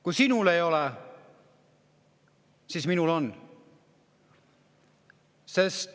Kui sinul ei ole, siis minul on.